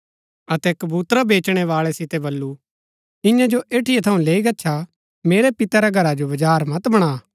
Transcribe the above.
अतै कबूतरा बेचणै बाळै सितै बल्लू ईयांईं जो ऐठीआ थऊँ लेई गच्छा मेरै पिता रै घरा जो बजार मत बणा